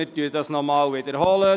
Wir wiederholen diese Abstimmung.